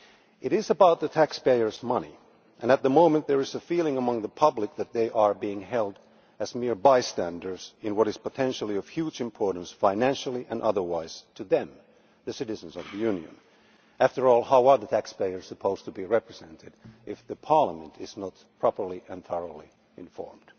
It is about taxpayers' money, and at the moment there is a feeling among the public that they are being held as mere bystanders in what is potentially of huge importance financially and otherwise to them, as citizens of the Union. After all, how are taxpayers supposed to be represented if Parliament is not properly and entirely informed?